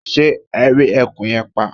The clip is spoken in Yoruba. ṣé ẹ rí eku yẹn pa?